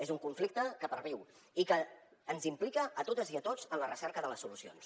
és un conflicte que perviu i que ens implica a totes i a tots en la recerca de les solucions